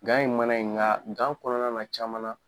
Gan e mana ye nka gan kɔnɔna na caman na.